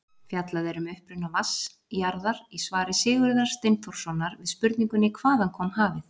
Fjallað er um uppruna vatns jarðar í svari Sigurðar Steinþórssonar við spurningunni Hvaðan kom hafið?